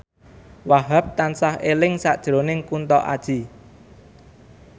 Wahhab tansah eling sakjroning Kunto Aji